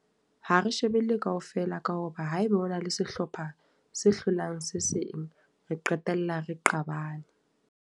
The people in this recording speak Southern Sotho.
Ha re shebelle kaofela ka hoba, haeba hona le sehlopha se hlolang se seng. Re qetella re qabane.